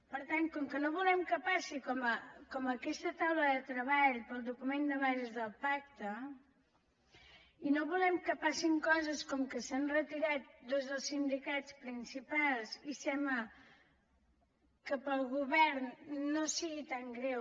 per tant com que no volem que passi com en aquesta taula de treball per al document de bases del pacte i no volem que passin coses com que s’han retirat dos dels sindicats principals i sembla que per al govern no sigui tan greu